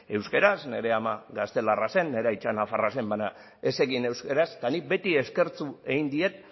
euskaraz nire ama gaztelarra zen nire aita nafarra zen baina ez zekien euskaraz eta nik beti eskertu egin diet